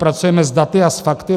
Pracujeme s daty a s fakty.